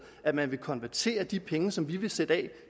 at man vil konvertere de penge som vi vil sætte af